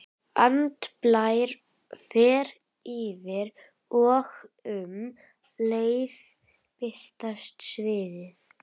Andblær fer yfir og um leið breytist sviðið.